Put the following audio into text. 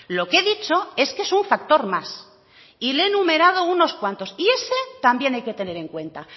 lo que he dicho es que es un factor más y le he enumerado unos cuantos y ese también hay que tener en cuenta